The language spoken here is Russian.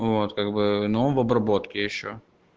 вот как бы она в обработке ещё